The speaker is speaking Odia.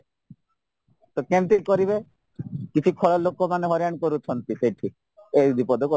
ତ କେମିତି କରିବେ କିଛି ଖରାପ ଲୋକମାନେ ହଇରାଣ କରୁଛନ୍ତି ସେଠି ଏଇଦିପଦ